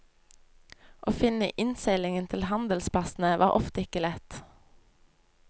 Å finne innseilingen til handelsplassene var ofte ikke lett.